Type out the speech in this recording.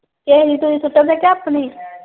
ਕਿਸੇ ਦੀ ਧੂੜੀ ਸੁੱਟਣ ਡਏ ਕੇ ਆਪਣੀ।